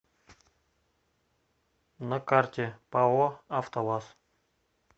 на карте пао автоваз